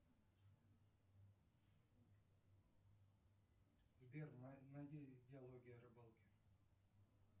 сбер найди диалоги о рыбалке